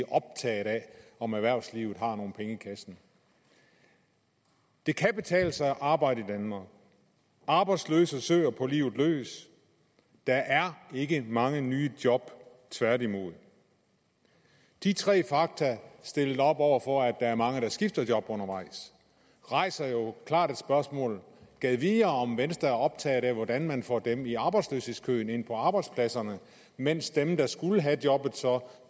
optaget af om erhvervslivet har nogle penge i kassen det kan betale sig at arbejde i danmark arbejdsløse søger på livet løs der er ikke mange nye job tværtimod de tre fakta stillet op over for at der er mange der skifter job undervejs rejser jo klart et spørgsmål gad vide om venstre er optaget af hvordan man får dem i arbejdsløshedskøen ind på arbejdspladserne mens dem der skulle have jobbet så